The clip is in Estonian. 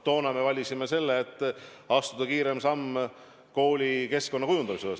Toona me valisime selle, et astuda kiirem samm koolikeskkonna kujundamisel.